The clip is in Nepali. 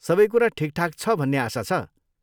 सबै कुरा ठिकठाक छ भन्ने आशा छ।